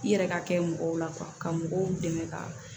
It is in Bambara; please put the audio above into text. I yɛrɛ ka kɛ mɔgɔw la ka mɔgɔw dɛmɛ ka